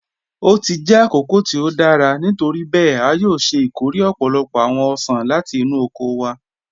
O ti jẹ́ àkókò tí o dára, nítoríbẹẹ̀, a yòò ṣẹ́ ikóre ọ̀pọ̀lọ́pọ̀ awọn ọṣan láti inú oko wa